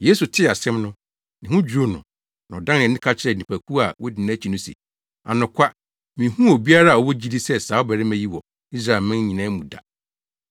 Yesu tee asɛm no, ne ho dwiriw no na ɔdan nʼani ka kyerɛɛ nnipakuw a wodi nʼakyi no se, “Anokwa, minhuu obiara a ɔwɔ gyidi sɛ saa ɔbarima yi wɔ Israelman nyinaa mu da.”